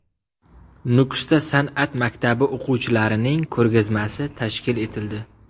Nukusda san’at maktabi o‘quvchilarining ko‘rgazmasi tashkil etildi.